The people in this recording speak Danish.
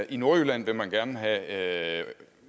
i nordjylland vil man gerne have